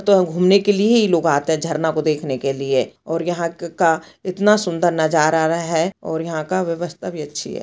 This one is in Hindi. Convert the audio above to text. तो घूमने के लिए इ लोग आते है झरना को देखने के लिए और यहाँ क का इतना सुंदर नज़ारा रा है और यहाँ का व्यवस्था भी अच्छी है।